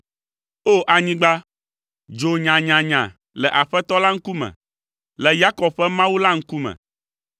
O! Anyigba, dzo nyanyanya le Aƒetɔ la ŋkume, le Yakob ƒe Mawu la ŋkume,